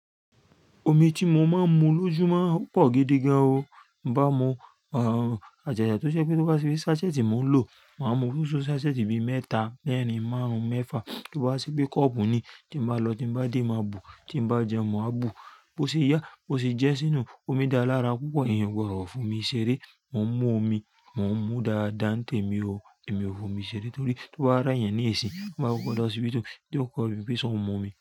Omi tí mo máa ń mu lójú máa ń pọ̀ gidi gan o. Mo mu, àjàjà tó ṣe pé tó bá sí bí sásẹ́ẹ̀tì mo ń lò, màá mu lóṣoo sásẹ́ẹ̀tì bí mẹ́ta lẹ́ẹ̀rin márùn-ún mẹ́fà. Tó bá wá ṣe pé kọ́ọ̀pù ni tí m bá lọ tí m bá dé, màá bù, tí mo bá jẹun, màá bù. Bo ṣe ìyà, bó ṣe jẹ́ sínú, omi dáa lára púpọ̀, ẹ̀yan ò gbọdọ̀ f'omi ṣeré. Mo ń mú omi, mo ń mú dáadáa ń tẹ́mi o, èmi ò f'omi ṣeré torí tó bá re yan ní i sii, tó bá gbé ọ dé hosipitu, yi o ko bíi ṣe o ń mu omi.